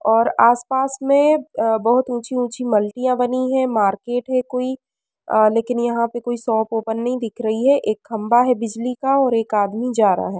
और आसपास में अ बोहोत ऊंची ऊंची मल्टियाँ बनी हैं। मार्केट है कोई। अ लेकिन यहाँ पे कोई शॉप ओपेन नहीं दिख रही है। एक खम्बा है बिजली का और एक आदमी जा रहा है।